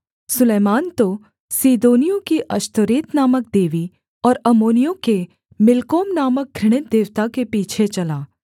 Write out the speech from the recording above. सुलैमान तो सीदोनियों की अश्तोरेत नामक देवी और अम्मोनियों के मिल्कोम नामक घृणित देवता के पीछे चला